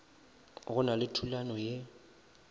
go na le thulano ye